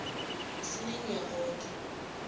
sinenyakotho